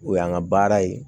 O y'an ka baara ye